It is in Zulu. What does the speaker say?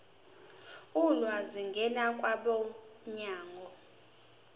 ulwazi ngena kwabomnyango